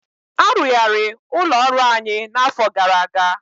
Arụgharị ụlọ ọrụ anyị na afọ gara aga